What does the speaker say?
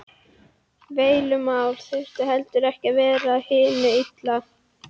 Deilumál þurfa heldur ekki að vera af hinu illa.